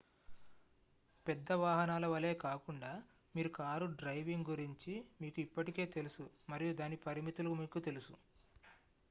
పెద్ద వాహనాల వలే కాకుండా మీ కారు డ్రైవింగ్ గురించి మీకు ఇప్పటికే తెలుసు మరియు దాని పరిమితులు మీకు తెలుసు